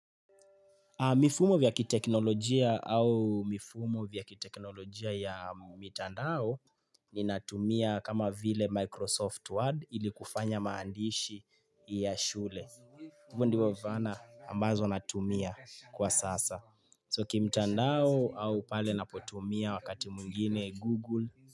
Mifumo vya kiteknolojia au mifumo vya kiteknolojia ya mtandao ni natumia kama vile Microsoft Word ili kufanya maandishi ya shule. Hivo ndivo vana ambazo natumia kwa sasa. So kimtandao au pale napotumia wakati mungine Google.